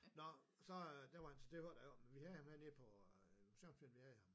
Nå så øh det var han det var da i orden vi havde ham hernede på tror selv vi havde ham